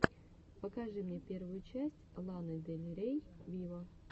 покажи мне первую часть ланы дель рей виво